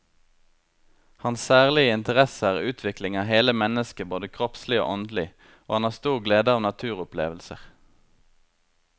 Hans særlige interesse er utvikling av hele mennesket både kroppslig og åndelig, og han har stor glede av naturopplevelser.